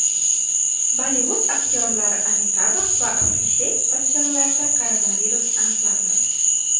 Bollivud aktyorlari Amitabh va Abhishek Bachchanlarda koronavirus aniqlandi.